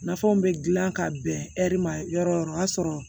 Nafanw bɛ dilan ka bɛn ɛri ma yɔrɔ yɔrɔ o y'a sɔrɔ